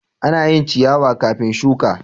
Ana yin ciyawa kafin shuka.